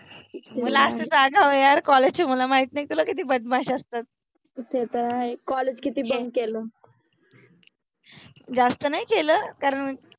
मुल असतार अगाऊ यार, कॉलेज चे मुल माहित नाहि तुला किति बदमाश असतात, ते तेर आहे, कॉलेजकिति बंक केल . जास्त नाहि केल कारण